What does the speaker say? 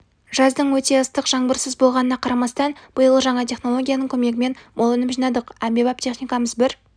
жаздың өте ыстық жаңбырсыз болғанына қарамастан биыл жаңа технологияның көмегімен мол өнім жинадық әмбебап техникамыз бір